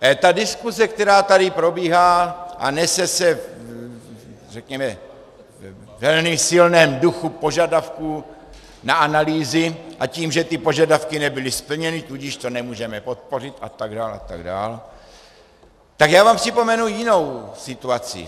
Ta diskuse, která tady probíhá a nese se řekněme ve velmi silném duchu požadavků na analýzy a tím, že ty požadavky nebyly splněny, tudíž to nemůžeme podpořit atd., atd., tak já vám připomenu jinou situaci.